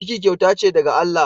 Ciki kyauta ce daga Allah.